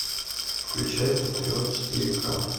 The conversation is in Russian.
включай патриот четыре ка